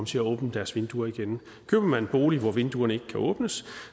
til at åbne deres vinduer igen køber man en bolig hvor vinduerne ikke kan åbnes